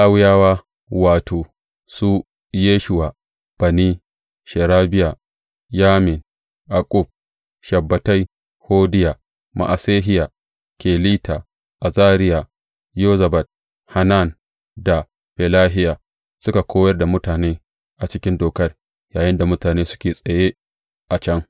Lawiyawa, wato, su Yeshuwa, Bani, Sherebiya, Yamin, Akkub, Shabbetai, Hodiya, Ma’asehiya, Kelita, Azariya, Yozabad, Hanan da Felahiya, suka koyar da mutane a cikin Dokar yayinda mutane suke a tsaye a can.